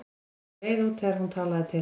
Hann var á leið út þegar hún talaði til hans.